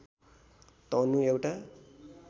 टर्नु एउटा